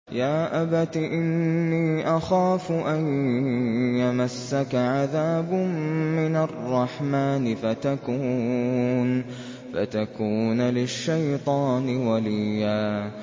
يَا أَبَتِ إِنِّي أَخَافُ أَن يَمَسَّكَ عَذَابٌ مِّنَ الرَّحْمَٰنِ فَتَكُونَ لِلشَّيْطَانِ وَلِيًّا